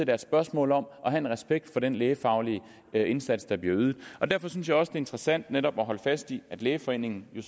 er et spørgsmål om at have respekt for den lægefaglig indsats der bliver ydet derfor synes jeg også det er interessant netop at holde fast i at lægeforeningen jo